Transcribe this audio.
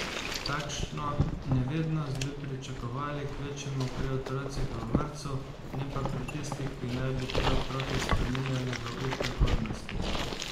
Takšno nevednost bi pričakovali kvečjemu pri otrocih v vrtcu, ne pa pri tistih, ki naj bi te otroke spreminjali v up prihodnosti.